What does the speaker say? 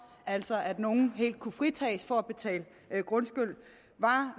altså at nogen helt kunne fritages for at betale grundskyld var